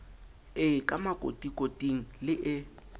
e ka makotikoting le e